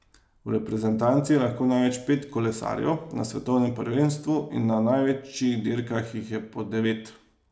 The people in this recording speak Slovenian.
V reprezentanci je lahko največ pet kolesarjev, na svetovnem prvenstvu in na največjih dirkah jih je po devet.